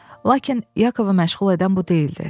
Lakin Yakovu məşğul edən bu deyildi.